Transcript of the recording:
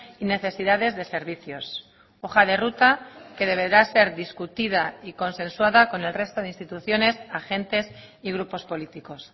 y necesidades de servicios hoja de ruta que deberá ser discutida y consensuada con el resto de instituciones a gentes y grupos políticos